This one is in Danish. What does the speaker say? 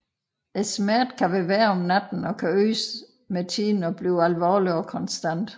Smerten kan være værre om natten og kan øges med tiden til at blive alvorlig og konstant